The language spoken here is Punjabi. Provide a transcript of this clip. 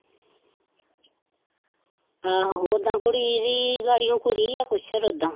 ਆਹੋ ਓਦਾਂ ਕੁੜੀ ਵੀ ਲਾੜੀਓ ਕੁੜੀ ਆ ਕੁਛੜ ਓਦਾਂ